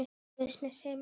Ég mun sakna hans.